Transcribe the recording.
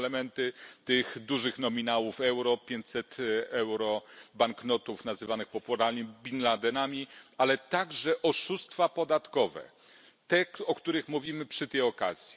Są elementy tych dużych nominałów euro 500 euro banknotów nazywanych popularnie bin Ladenami, ale także oszustwa podatkowe, te o których mówimy przy tej okazji.